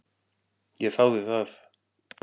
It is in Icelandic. Ég þáði það.